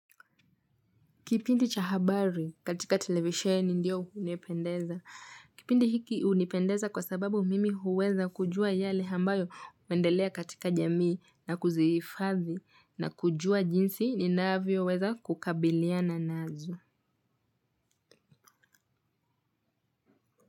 Kipindi cha habari katika televisheni ndio hunipendeza. Kipindi hiki hunipendeza kwa sababu mimi huweza kujua yale ambayo huendelea katika jamii na kuzihifadhi na kujua jinsi ninavyoweza kukabiliana nazo.